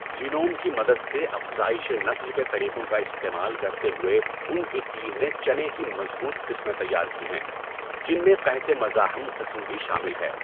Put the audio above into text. Genome کی مدد سے افزائش نسل کے طریقوں کا استعمال کرتے ہوئے ان کی ٹیم نے چنے کی مضبوط قسمیں تیار کی ہیں، جن میں قحط مزاحم قسم بھی شامل ہے۔